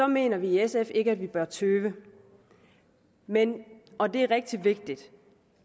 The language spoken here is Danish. mener vi i sf ikke at vi bør tøve men og det er rigtig vigtigt